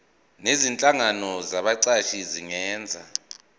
nezinhlangano zabaqashi zingenza